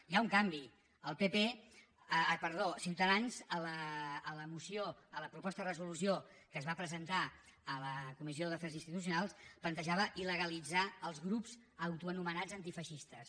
hi ha un canvi ciutadans a la moció a la proposta de resolució que es va presentar a la comissió d’afers institucionals plantejava ilgrups autoanomenats antifeixistes